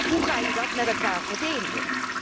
Hoe ga je dat met elkaar verenigen?